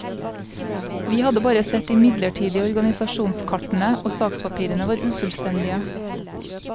Vi hadde bare sett de midlertidige organisasjonskartene, og sakspapirene var ufullstendige.